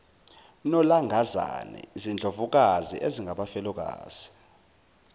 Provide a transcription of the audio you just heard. nolangazana izindlovukazi ezingabafelokazi